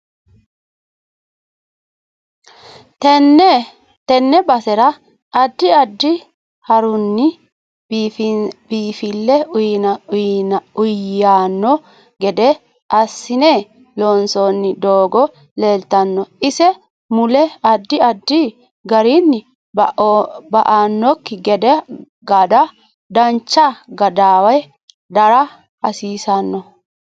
Tenne basera addi addi harinni biinfille uyiiyanno gede assine loonsooni doogo leeltanno ise mule addi addi garinni ba'anokki geda dacha gadawe dara hasiisanno